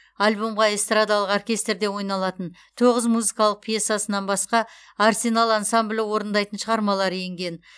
альбомға эстрадалық оркестрде ойналатын тоғыз музыкалық пьесасынан басқа арсенал ансамблі орындайтын шығармалары енген